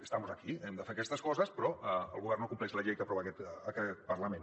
estamos aquí hem de fer aquestes coses però el govern no compleix la llei que aprova aquest parlament